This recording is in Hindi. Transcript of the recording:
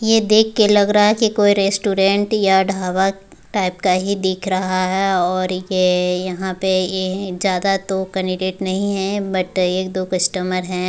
ये देख के लग रहा कि कोई रेस्टोरेंट या ढाबा टाइप का ही दिख रहा है और ये यहा पे ये ज्यादा तो कैंडिडेट नहीं है बट एक-दो कस्टमर हैं।